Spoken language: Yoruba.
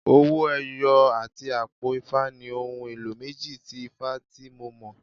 Owó ẹyọ àti àpò ifá ni ohun èlò méjì tí ifá tí mo mọ̀.